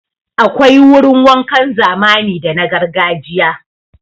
Akwai wurin wankan zamani da na gargajiya.